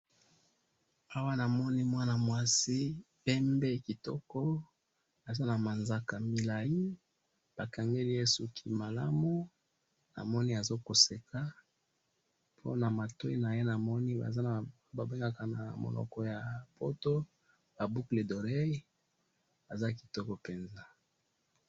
Awa na moni mwasi ya kitoko aza koseka, bakangi ye suki kitoko, aza na manjaka milai na biloko ya matoi